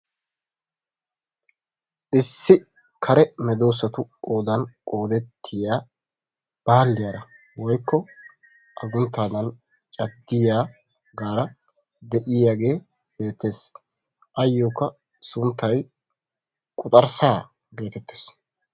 Issi kare meddoossatu qoodaan qoodettiya balliyaara woykko agguntaadan caddiyaagaara de'iyaagee beettees. Ayokka sunttaay quxxarssaa gettettees.